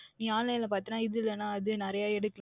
நீங்கள் Online ல பார்த்தீர்கள் என்றால் இது இல்லயென்றால் அது நிறைய எடுக்கலாம்